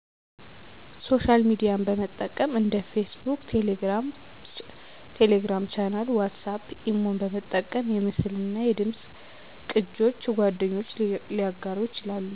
ሶሻል ሚድያን በጠቀም እንደ ፌስቡክ፣ ቴሌግራም ቻናል፣ ዋትስአፕ፣ ኢሞን በመጠቀም የምስልናደምፅ ቅጆች ጓደኞች ሊያጋሩ ይችላሉ